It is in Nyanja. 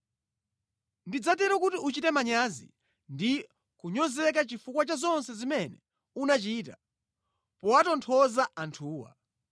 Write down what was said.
Ndidzatero kuti uchite manyazi ndi kunyozeka chifukwa cha zonse zimene unachita powatonthoza anthuwa.